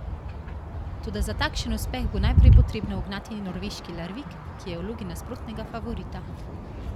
Toda za takšen uspeh bo najprej potrebno ugnati norveški Larvik, ki je v vlogi nespornega favorita.